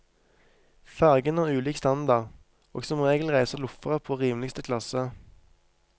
Fergene har ulik standard, og som regel reiser loffere på rimligste klasse.